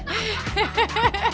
þetta